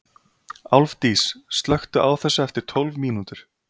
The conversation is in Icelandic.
Álfdís, slökktu á þessu eftir tólf mínútur.